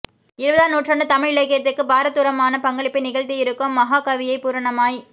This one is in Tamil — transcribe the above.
இருபதாம் நூற்றாண்டுத் தமிழ் இலக்கியத்துக்குப் பார தூரமான பங்களிப்பை நிகழ்த்தியிருக்கும் மஹாகவியைப் பூரணமாய்